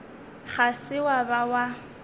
ga se wa ba wa